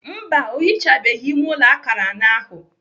Mba, ọ hichabeghị ime ụlọ akara anọ ahụ.